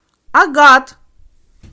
агат